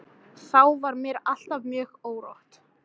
Þá var mér alltaf mjög órótt.